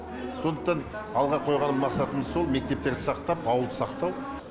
сондықтан алға қойған мақсатымыз сол мектептерді сақтап ауылды сақтау